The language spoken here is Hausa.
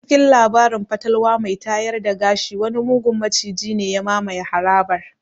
A cikin labarin fatalwa mai tayar da gashi wani mugun maciji ne ya mamaye harabar.